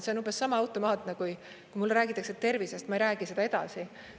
See on umbes sama automaatne, et kui mulle räägitakse tervisest, siis ma ei räägi seda edasi.